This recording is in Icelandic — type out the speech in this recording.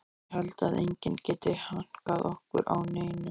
Ég held að enginn geti hankað okkur á neinu.